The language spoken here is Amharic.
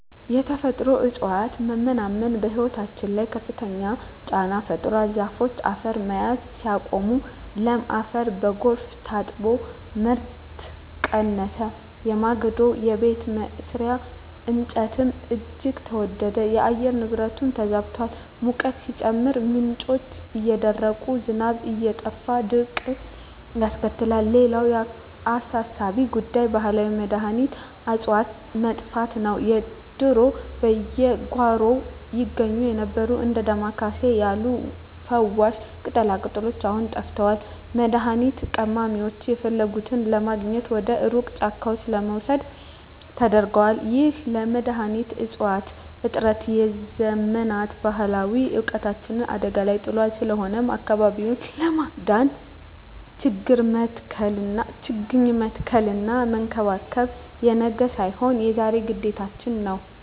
የተፈጥሮ እፅዋት መመናመን በሕይወታችን ላይ ከፍተኛ ጫና ፈጥሯል። ዛፎች አፈርን መያዝ ሲያቆሙ፣ ለም አፈር በጎርፍ ታጥቦ ምርት ቀነሰ፤ የማገዶና የቤት መስሪያ እንጨትም እጅግ ተወደደ። የአየር ንብረቱም ተዛብቷል፤ ሙቀቱ ሲጨምር፣ ምንጮች እየደረቁና ዝናብ እየጠፋ ድርቅን ያስከትላል። ሌላው አሳሳቢ ጉዳይ የባህላዊ መድኃኒት እፅዋት መጥፋት ነው። ድሮ በየጓሮው ይገኙ የነበሩት እንደ ዳማ ኬሴ ያሉ ፈዋሽ ቅጠላቅጠሎች አሁን ጠፍተዋል፤ መድኃኒት ቀማሚዎችም የሚፈልጉትን ለማግኘት ወደ ሩቅ ጫካዎች ለመሰደድ ተገደዋል። ይህ የመድኃኒት እፅዋት እጥረት የዘመናት ባህላዊ እውቀታችንን አደጋ ላይ ጥሎታል። ስለሆነም አካባቢውን ለማዳን ችግኝ መትከልና መንከባከብ የነገ ሳይሆን የዛሬ ግዴታችን ነው።